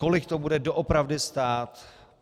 Kolik to bude doopravdy stát?